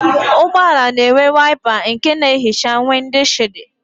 Ụgbọala na-enwe waịpa nke na-ehicha wịndịshịldị.